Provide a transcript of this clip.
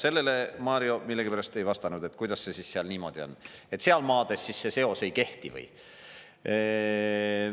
Sellele Mario millegipärast ei vastanud, et kuidas see seal niimoodi, et seal maades siis see seos ei kehti või.